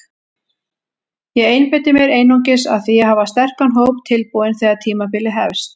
Ég einbeiti mér einungis að því að hafa sterkan hóp tilbúinn þegar tímabilið hefst.